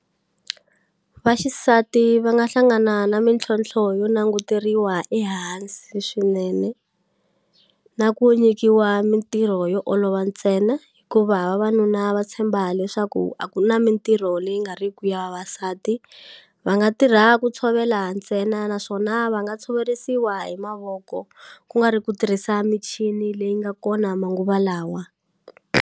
Vaxisati va nga hlangana na mintlhontlho yo nanguteriwa ehansi swinene na ku nyikiwa mintirho yo olova ntsena hikuva vavanuna va tshemba leswaku a ku na mintirho leyi nga ri ku ya vavasati va nga tirha ku tshovela ntsena naswona va nga tshoverisiwa hi mavoko ku nga ri ku tirhisa michini leyi nga kona manguva lawa.